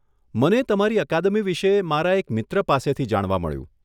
મને તમારી અકાદમી વિશે મારા એક મિત્ર પાસેથી જાણવા મળ્યું.